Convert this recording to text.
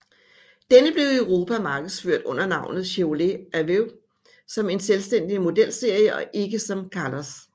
Denne blev i Europa markedsført under navnet Chevrolet Aveo som en selvstændig modelserie og ikke som Kalos